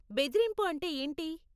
బెదిరింపు అంటే ఏంటి?